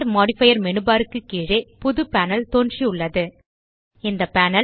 add modifier menu bar க்கு கீழே புது பேனல் தோன்றியுள்ளது இந்த பேனல்